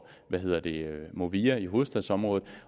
movia i hovedstadsområdet